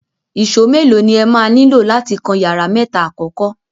Ìṣó mélòó ni ẹ máa nílò láti kan yàrá mẹ́ta àkọ́kọ́?